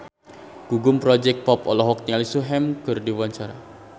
Gugum Project Pop olohok ningali Sehun keur diwawancara